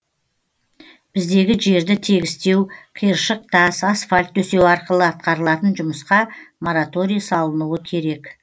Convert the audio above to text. біздегі жерді тегістеу қиыршық тас асфальт төсеу арқылы атқарылатын жұмысқа мораторий салынуы керек